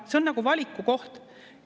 See on nagu valiku koht.